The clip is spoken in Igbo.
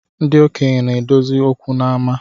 Ndị okenye na-edozi okwu n’ama